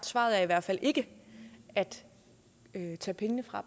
svaret i hvert fald ikke at tage pengene fra